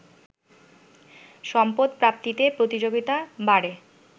সম্পদ প্রাপ্তিতে প্রতিযোগিতা বাড়ে